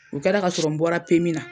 U kɛra ka sɔrɔ n bɔra PMI na